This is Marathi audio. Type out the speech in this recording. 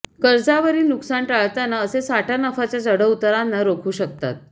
कर्जावरील नुकसान टाळतांना असे साठा नफाच्या चढउतारांना रोखू शकतात